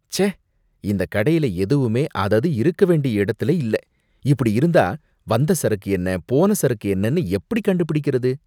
ச்சே! இந்த கடையில எதுவுமே அதது இருக்க வேண்டிய இடத்துல இல்ல. இப்படி இருந்தா வந்த சரக்கு என்ன, போன சரக்கு என்னனு எப்படி கண்டுபிடிக்கறது?